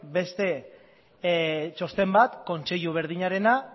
beste txosten bat kontseilu berdinarena